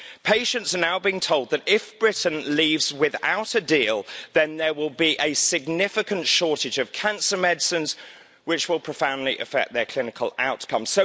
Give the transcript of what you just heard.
Patients are now being told that if Britain leaves without a deal, then there will be a significant shortage of cancer medicines, which will profoundly affect their clinical outcomes.